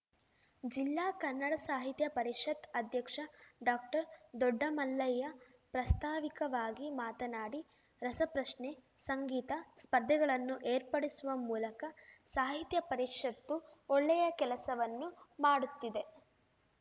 ಜಿಲ್ಲಾ ಕನ್ನಡ ಸಾಹಿತ್ಯ ಪರಿಷತ್ ಅಧ್ಯಕ್ಷ ಡಾಕ್ಟರ್ದೊಡ್ಡಮಲ್ಲಯ್ಯ ಪ್ರಾಸ್ತಾವಿಕವಾಗಿ ಮಾತನಾಡಿ ರಸಪ್ರಶ್ನೆ ಸಂಗೀತ ಸ್ಪರ್ಧೆಗಳನ್ನು ಏರ್ಪಡಿಸುವ ಮೂಲಕ ಸಾಹಿತ್ಯ ಪರಿಷತ್ತು ಒಳ್ಳೆಯ ಕೆಲಸವನ್ನು ಮಾಡುತ್ತಿದೆ